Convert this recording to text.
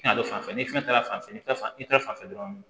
fanfɛ ni fɛn taara fanfɛ i tɛ fanfɛ dɔrɔn